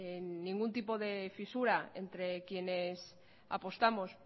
ningún tipo de fisura entre quienes apostamos